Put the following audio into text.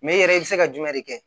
i yɛrɛ i bɛ se ka jumɛn de kɛ